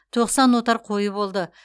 тоқсан отар қойы болды